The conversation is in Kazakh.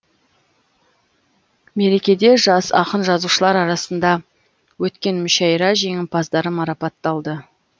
мерекеде жас ақын жазушылар арасында өткен мүшайра жеңімпаздары марапатталды